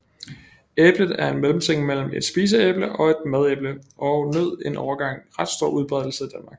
Æblet er en mellemting mellem et spiseæble og et madæble og nød en overgang ret stor udbredelse i Danmark